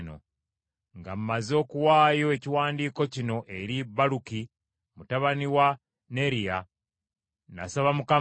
“Nga mmaze okuwaayo ekiwandiiko kino eri Baluki mutabani wa Neriya, nasaba Mukama nti,